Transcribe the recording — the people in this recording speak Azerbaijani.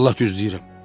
Vallah düz deyirəm.